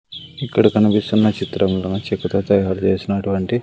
ఇక్కడ కనిపిస్తున్న చిత్రంలోని చెక్కతో తయారు చేసినటువంటి--